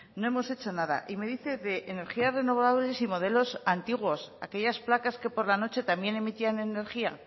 no hemos hecho nada y me dice de energías renovables y modelos antiguos aquellas placas que por la noche también emitían energía